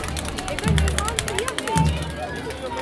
एकर निर्माण कहिया भेल छैक?